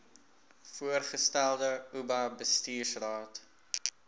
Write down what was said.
voorgestelde oba bestuursraad